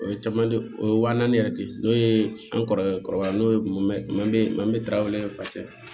O ye caman o ye wa naani yɛrɛ de ye n'o ye an kɔrɔkɛ kɔrɔbaya n'o ye manje man ye fasa